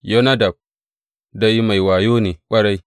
Yonadab dai mai wayo ne ƙwarai.